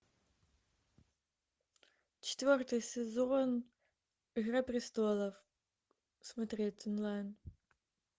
четвертый сезон игра престолов смотреть онлайн